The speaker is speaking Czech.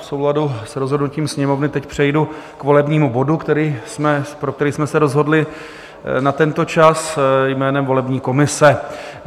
V souladu s rozhodnutím Sněmovny teď přejdu k volebnímu bodu, pro který jsme se rozhodli na tento čas, jménem volební komise.